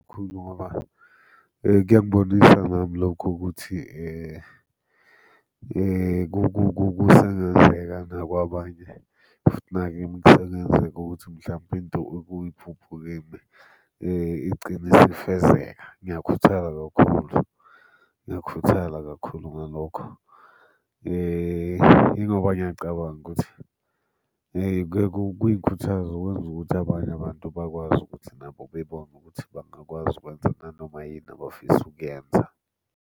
Kakhulu ngoba kuyangibonisa nami lokho ukuthi kusengenzeka nakwabanye, futhi nakimi kusengenzeka ukuthi mhlampe into uke uyiphuphe igcine isifezeka. Ngiyakhuthala kakhulu, ngiyakhuthala kakhulu ngalokho, yingoba ngiyacabanga ukuthi kuyeke kungikhuthaze okwenza ukuthi abanye abantu bakwazi ukuthi nabo bebone ukuthi bangakwazi ukwenza nanoma yini abafisa ukuyenza.